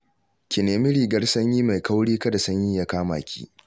Ki nemi rigar sanyi mai kauri, kada sanyi ya kama ki